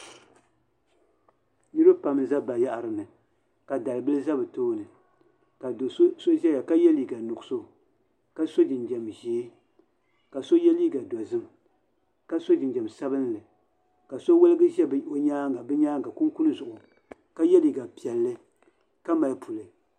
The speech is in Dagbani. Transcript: Niraba pam n bɛ bayaɣari ni ka dalibili ʒɛ bi tooni ka do so ʒɛya ka yɛ liiga nuɣso ka so jinjɛm ʒiɛ ka so yɛ liiga dozim ka si jinjɛm sabinli ka si woligi ʒɛ bi nyaanga kunkun zuɣu ka yɛ liiga piɛlli ka mali puli